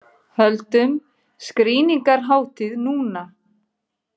Höldum skrýningarhátíð núna!